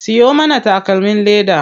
Siyo mana takalmin leda.